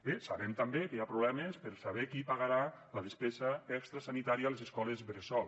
bé sabem també que hi ha problemes per saber qui pagarà la despesa extra sanitària a les escoles bressol